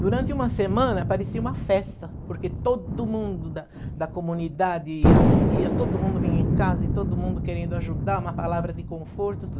Durante uma semana parecia uma festa, porque todo mundo da da comunidade, as tias, todo mundo vinha em casa, todo mundo querendo ajudar, uma palavra de conforto,